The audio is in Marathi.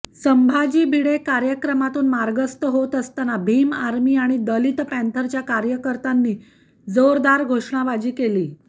संभाजी भिडे कार्यक्रमातून मार्गस्थ होत असताना भीम आर्मी आणि दलित पँथरच्या कार्यकर्त्यांनी जोरदार घोषणाबाजी केली